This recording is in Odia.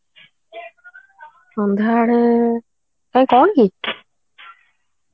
ସନ୍ଧ୍ୟା ବେଳେ କାଇଁ କଣ କି